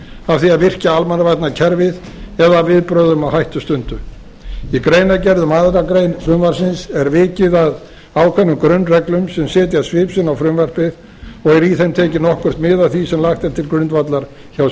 því að virkja almannavarnakerfið af viðbrögðum á hættustundu í greinargerð um aðra grein frumvarpsins er vikið að ákveðnum grunnreglum sem setja svip sinn á frumvarpið og er í þeim tekið nokkurt mið af því sem lagt er til grundvallar hjá